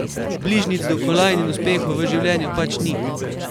Bližnjic do kolajn in uspehov v življenju pač ni.